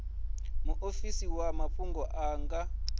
muofisi wa mafhungo a nga